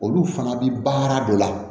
Olu fana bi baara dɔ la